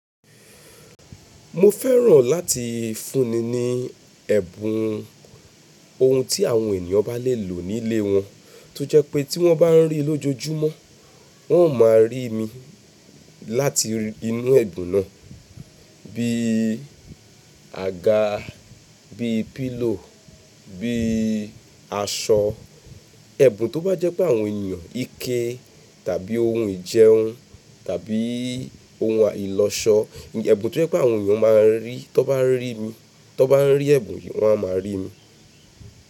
Mo fẹ́ràn láti fúnni ní ẹ̀bùn, ohun tí àwọn ènìyàn bá lè lò nílé wọn tó jẹ́ pé tí wọ́n bá ń rí i lójoojúmọ́, wọ́n ó máa rí mi láti inú ẹ̀bùn náà Bí i àga, bí i pillow, bí i aṣọ. Ẹ̀bùn tó bá jẹ́ pé àwọn ènìyàn ike tàbí ohun ìjẹun tàbí ohun àìlò ọ̀ṣọ ẹ̀bùn tó jẹ́ pé àwọn ènìyàn máa ń rí, tó bá ń rí mi, tó bá ń rí ẹbùn yìí wọ́n a máa rí mi.